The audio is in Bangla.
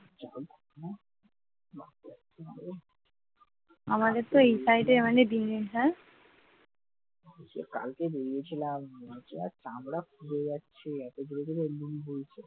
কালকে বেরিয়েছিলাম চামড়া খুলে যাচ্ছে এত জোর জোর লু বইছে।